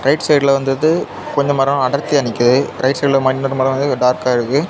Right சைடுல வந்தது கொஞ்ச மரம் அடர்த்தியா நிக்குது. ரைட் சைடுல இன்னொரு மரம் வந்து டார்க்கா இருக்கு.